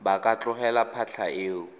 ba ka tlogela phatlha eo